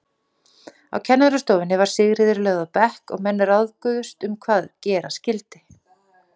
Á kennarastofunni var Sigríður lögð á bekk og menn ráðguðust um hvað gera skyldi.